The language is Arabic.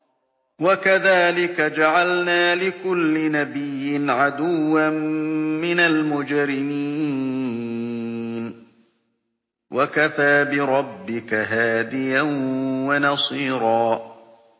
وَكَذَٰلِكَ جَعَلْنَا لِكُلِّ نَبِيٍّ عَدُوًّا مِّنَ الْمُجْرِمِينَ ۗ وَكَفَىٰ بِرَبِّكَ هَادِيًا وَنَصِيرًا